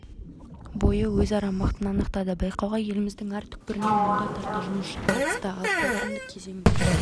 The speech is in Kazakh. бойы өзара мықтыны анықтады байқауға еліміздің әр түкпірінен мыңға тарта жұмысшы қатысты ал қорытынды кезеңде